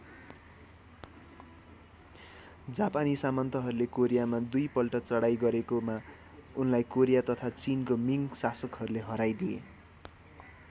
जापानी सामन्तहरूले कोरियामा दुई पल्ट चढाई गरेकोमा उनलाई कोरिया तथा चीन को मिङ्ग शासकहरूले हराइदिए।